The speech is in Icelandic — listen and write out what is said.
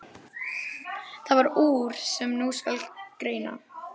Varð það úr, sem nú skal greina.